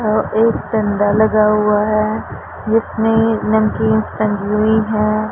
और एक डंडा लगा हुआ है जिसमें नमकींस टंगी हुई है।